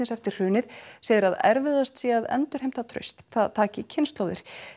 eftir hrunið segir að erfiðast sé að endurheimta traust það taki kynslóðir